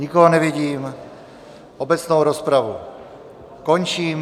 Nikoho nevidím, obecnou rozpravu končím.